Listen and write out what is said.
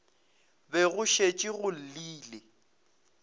be go šetše go llile